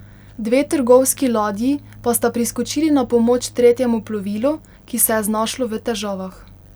Dve trgovski ladji pa sta priskočili na pomoč tretjemu plovilu, ki se je znašlo v težavah.